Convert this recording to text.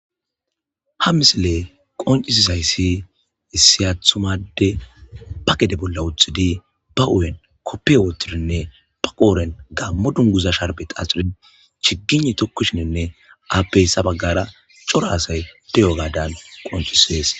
ha misile qoncisizayssi issiyathumade ba gede bolla uthidi ba u'en koppiwotidinne ba qooren gammo dunguza sharbet axxurin chigine tokkushininne appeyssa baggara coro asay deyo gadan qoncisees.